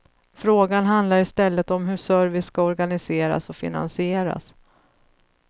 Frågan handlar i stället om hur service ska organiseras och finansieras.